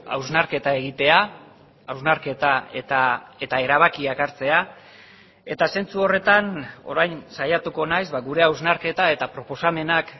hausnarketa egitea hausnarketa eta erabakiak hartzea eta zentzu horretan orain saiatuko naiz ba gure hausnarketa eta proposamenak